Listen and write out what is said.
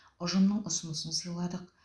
ұжымның ұсынысын сыйладық